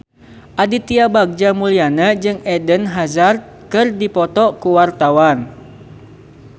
Aditya Bagja Mulyana jeung Eden Hazard keur dipoto ku wartawan